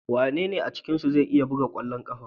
Wanene a cikinku zai iya buga kwallon kafa?